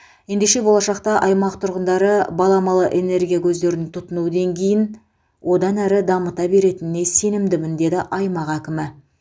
ендеше болашақта аймақ тұрғындары баламалы энергия көздерін тұтыну деңгейін одан әрі дамыта беретініне сенімдімін деді аймақ әкімі